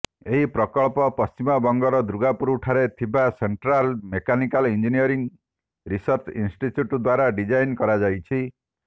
ଏହି ପ୍ରକଳ୍ପ ପଶ୍ଚିମବଙ୍ଗର ଦୂର୍ଗାପୁର ଠାରେ ଥିବା central mechanical engineering research institute ଦ୍ୱାରା ଡିଜାଇନ କରାଯାଇଛି